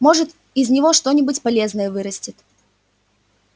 может из него что-нибудь полезное вырастет